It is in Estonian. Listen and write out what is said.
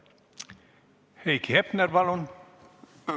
Heiki Hepner, palun!